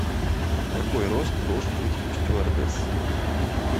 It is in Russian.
какой рост должен быть у стюардессы